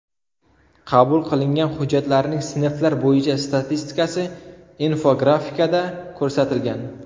Qabul qilingan hujjatlarning sinflar bo‘yicha statistikasi infografikada ko‘rsatilgan.